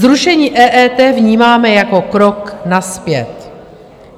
Zrušení EET vnímáme jako krok nazpět.